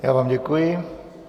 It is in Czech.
Já vám děkuji.